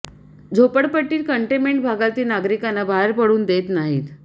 झोपडपट्टीत कंटेन्मेंट भागातील नागरिकांना बाहेर पडून देत नाहीत